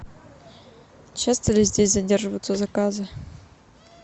часто ли здесь задерживаются заказы